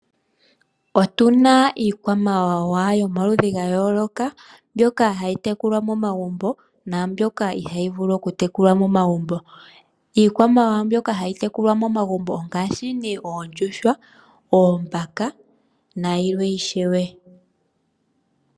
Otuna iikwamawawa yomaludhi ga yooloka mboka hayi tekulwa momagumbo naamboka ohayi tekulwa momagumbo. Iikwamawawa mbyoka hayi tekulwa momagumbo ongaashi oondjuhwa, oombaka nayilwe ishewe.